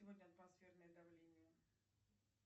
сегодня атмосферное давление